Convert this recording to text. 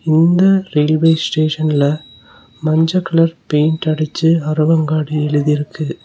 இந்த ரெயில்வே ஸ்டேஷன்ல மஞ்ச கலர் பெயிண்ட் அடிச்சு அரவங்காடு எழுதிருக்கு.